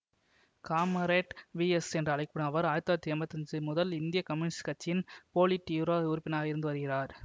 comrade V S என்று அழைக்க படும் அவர் ஆயிரத்தி தொள்ளாயிரத்தி எம்பத்தி அஞ்சு முதல் இந்திய கம்யூனிஸ்ட் கட்சி இன் போலிட் யூரோ உறுப்பினராக இருந்து வருகிறார்